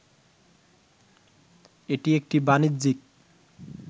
এটি একটি বাণিজ্যিক